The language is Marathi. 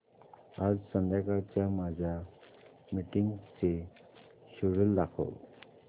आज संध्याकाळच्या माझ्या मीटिंग्सचे शेड्यूल दाखव